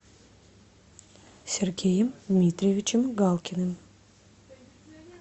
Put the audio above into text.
сергеем дмитриевичем галкиным